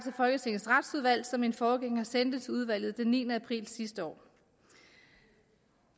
folketingets retsudvalg som min forgænger sendte til udvalget den niende april sidste år